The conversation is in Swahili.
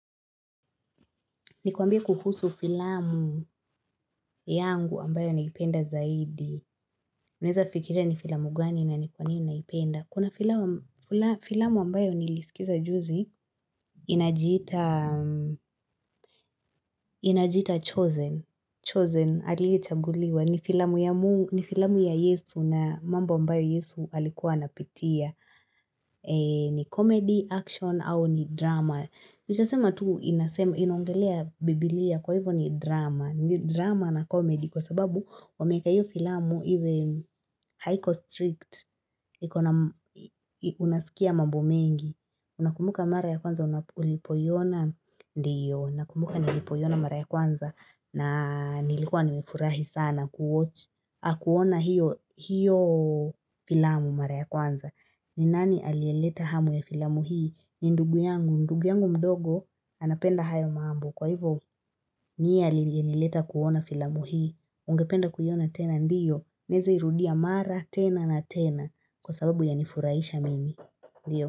Nikwambie kuhusu filamu yangu ambayo naipenda zaidi. Unaweza fikiria ni filamu gani na ni kwa nini naipenda. Kuna filamu ambayo nilisikiza juzi, inajiita Choosen. Choosen, aliyechaguliwa. Ni filamu ya Yesu na mambo ambayo Yesu alikuwa anapitia. Ni comedy, action, au ni drama. Nitasema tu inaongelea bibilia kwa hivyo ni drama. Drama na comedy kwa sababu wameweka hiyo filamu even haiko strict Unasikia mambo mengi unakumbuka mara ya kwanza ulipoiona Ndiyo nakumbuka nilipo iyona mara ya kwanza na nilikuwa nimekurahi sana kuwatch Akuona hiyo filamu mara ya kwanza Ninani aliyeleta hamu ya filamu hii ni ndugu yangu, ndugu yangu mdogo anapenda hayo mambo Kwa hivyo, niyenileta kuona filamu hii ungependa kuiyona tena ndiyo, naweza irudia mara tena na tena kwa sababu yanifuraisha mimi.